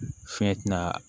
Fɛn tɛna